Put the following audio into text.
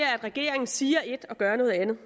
at regeringen siger et og gør noget andet